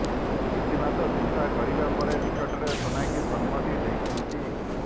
କିଛି ମାସ ଚିନ୍ତା କରିବା ପରେ ନିକଟରେ ସୋନାକ୍ଷୀ ସମ୍ମତି ଦେଇଛନ୍ତି